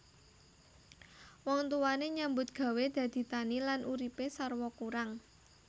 Wong tuwane nyambut gawé dadi tani lan uripe sarwa kurang